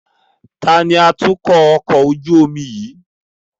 Taàní atukọ̀ ọkọ̀ ojú omi yìí?